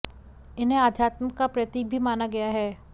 इन्हें अध्यात्म का प्रतीक भी माना गया है